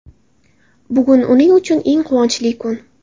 Bugun uning uchun eng quvonchli kun.